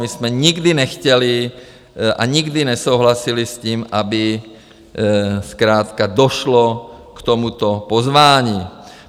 My jsme nikdy nechtěli a nikdy nesouhlasili s tím, aby zkrátka došlo k tomuto pozvání.